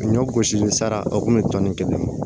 Ɲɔ gosili sara o kun bɛ tɔni kelen